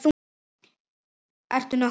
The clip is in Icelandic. Ertu nokkuð að keyra?